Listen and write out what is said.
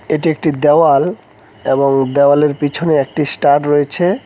এটি একটি দেওয়াল এবং দেওয়ালের পিছনে একটি স্টার রয়েছে।